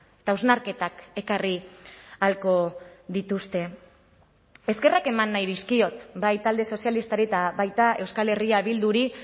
eta hausnarketak ekarri ahalko dituzte eskerrak eman nahi dizkiot bai talde sozialistari eta baita euskal herria bilduri